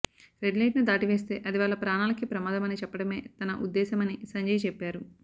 రెడ్లైట్ను దాటి వెళ్తే అది వాళ్ల ప్రాణాలకే ప్రమాదం అని చెప్పడమే తన ఉద్దేశమని సంజయ్ చెప్పారు